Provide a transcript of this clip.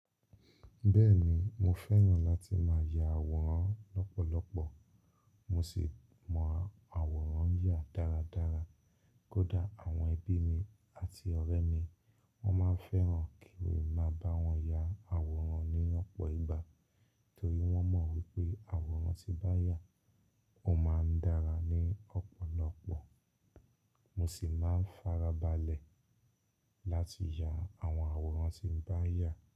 Bẹ́ẹ̀ni, mo fẹ́ràn láti máa ya àwòrán lọ́pọ̀lọpọ̀ mo sì mọ àwòrán yà dáradára. Kódà àwọn ẹbí mi àti ọ̀rẹ́ mi wọ́n máa ń fẹ́ràn kí n máa bá wọn ya àwòrán ní ọ̀pọ̀ ìgbà torí wọ́n mọ̀ wípé àwòrán tí bá yà, ó máa ń dára ní ọ̀pọ̀lọpọ̀. Mo sì máa ń farabalẹ̀ láti ya àwọn àwòrán tí ń bá yà.